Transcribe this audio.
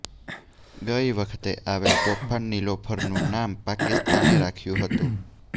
ગઇ વખતે આવેલ તોફાન નિલોફરનું નામ પાકિસ્તાને રાખ્યું હતું